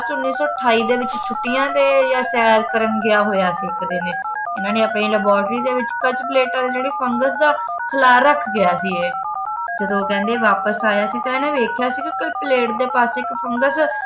ਉੱਨੀ ਸੌ ਅਠਾਈ ਦੇ ਵਿਚ ਛੁੱਟੀਆਂ ਦੇ ਯਾ ਸੈਰ ਕਰਨ ਗਿਆ ਹੋਇਆ ਸੀ ਇੱਕ ਦਿਨ ਇਨ੍ਹਾਂ ਨੇ ਆਪਣੀ laboratory ਕੱਚ cutter ਆ ਜਿਹੜੀ ਫੰਗਸ ਦਾ ਖਲਾਅ ਰੱਖ ਗਿਆ ਸੀ ਇਹ ਜਦੋਂ ਕਹਿੰਦੇ ਵਾਪਸ ਆਇਆ ਸੀ ਤਾਂ ਇਹਨੇ ਦੇਖਿਆ ਕਿ plate ਦੇ ਪਾਸੇ ਇੱਕ ਫੰਗਸ